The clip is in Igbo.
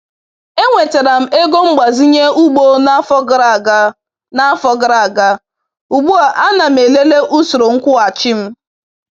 E nwetara m ego mgbazinye ugbo n’afọ gara aga, n’afọ gara aga, ugbu a ana m elele usoro nkwụghachi m